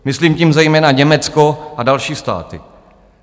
Myslím tím zejména Německo a další státy.